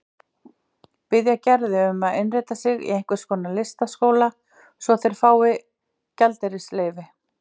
Biðja Gerði um að innrita sig í einhvern listaskóla svo að þeir fái gjaldeyrisleyfi.